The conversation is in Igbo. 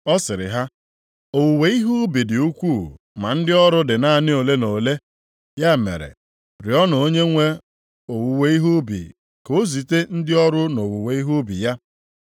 Ọ sịrị ha, “Owuwe ihe ubi dị ukwuu ma ndị ọrụ dị naanị ole na ole. Ya mere, rịọọnụ Onyenwe owuwe ihe ubi ka o zite ndị ọrụ nʼowuwe ihe ubi ya.